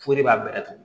O de b'a bɛɛ tugu